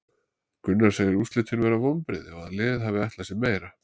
Gunnar segir úrslitin vera vonbrigði og að liðið hafi ætlað sér meira.